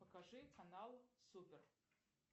покажи канал супер